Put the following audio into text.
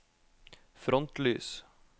frontlys